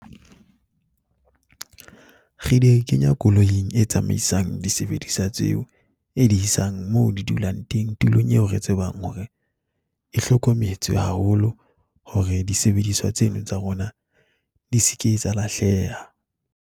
Re di kenya koloing e tsamaisang disebedisa tseo e di isang mo di dulang teng, tulong eo re tsebang hore e hlokometse haholo hore disebediswa tseno tsa rona di se ke tsa lahleha.